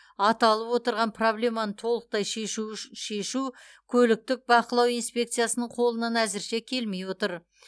аталып отырған проблеманы толықтай шешу көліктік бақылау инспекциясының қолынан әзірше келмей отыр